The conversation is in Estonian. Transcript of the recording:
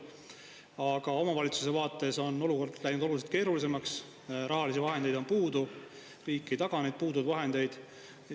Aga omavalitsuse vaates on olukord läinud oluliselt keerulisemaks, rahalisi vahendeid on puudu, riik ei taga neid puuduvaid vahendeid.